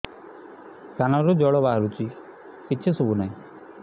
କାନରୁ ଜଳ ବାହାରୁଛି କିଛି ଶୁଭୁ ନାହିଁ